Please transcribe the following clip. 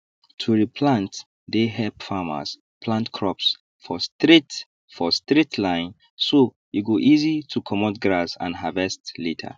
to re plant dey help farmers plant crops for straight for straight line so e go easy to comot grass and harvest later